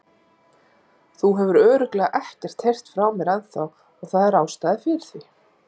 Þú hefur örugglega ekkert heyrt frá mér ennþá og það er ástæða fyrir því.